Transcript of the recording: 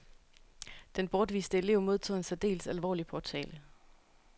Den bortviste elev modtog en særdeles alvorlig påtale.